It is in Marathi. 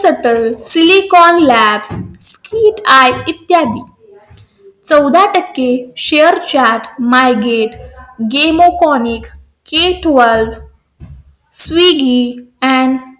silicon lab की आई इत्यादी . चौदा टक्के shrechat, margrade, galeuponic, cateword, swiggy, and